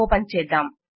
open చేద్దాం